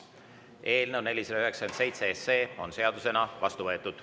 Eelnõu 497 on seadusena vastu võetud.